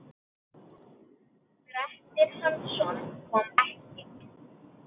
Grettir Hansson kom ekki.